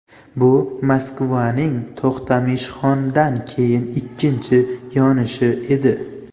Bu Moskvaning To‘xtamishxondan keyin ikkinchi yonishi edi.